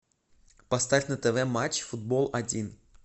поставь на тв матч футбол один